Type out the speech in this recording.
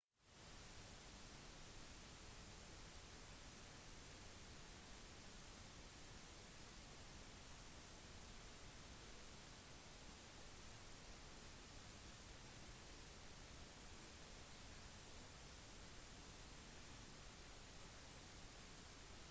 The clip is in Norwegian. selv om vognveiene bare besto av parallelle treplanker lot de hester trekke seg for å oppnå større hastigheter og trekke mer last enn på de litt mer røffe veiene fra den tiden